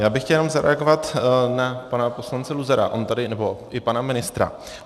Já bych chtěl jenom zareagovat na pana poslance Luzara nebo i pana ministra.